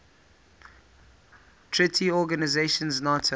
treaty organization nato